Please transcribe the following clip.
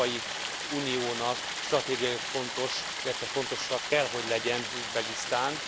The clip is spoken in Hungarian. Az Európai Uniónak stratégiailag fontos, illetve fontos kell hogy legyen Üzbegisztán.